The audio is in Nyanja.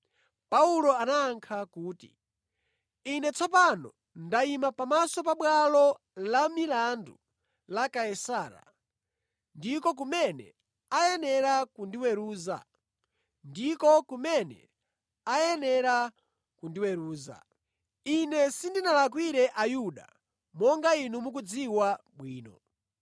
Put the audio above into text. Paulo anayankha kuti, “Ine tsopano ndayima pamaso pa bwalo la milandu la Kaisara, ndiko kumene ayenera kundiweruza. Ine sindinalakwire Ayuda, monga inu mukudziwa bwino.